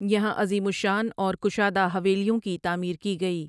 یہاں عظیم الشان اور کشادہ حویلیوں کی تعمیر کی گئی۔